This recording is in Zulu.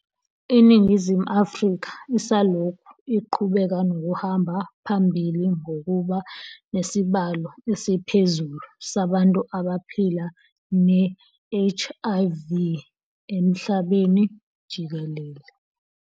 INingizimu Afrika isalokhu iqhubeka nokuhamba phambili ngokuba nesibalo esiphezulu sabantu abaphila ne-HIV emhlabeni jikelele.